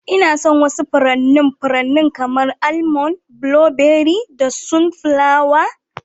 Ina son wasu furannin furanni kamar; Almond, blueberry da sunflower.